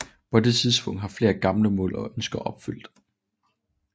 På det tidspunkt var flere gamle mål og ønsker opfyldt